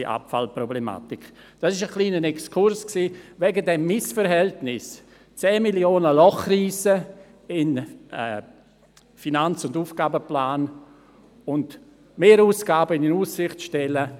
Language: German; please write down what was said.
Das war ein kleiner Exkurs aufgrund des Missverhältnisses, ein Loch von 10 Mio. Franken Loch in den AFP zu reissen und Mehrausgaben in Aussicht zu stellen.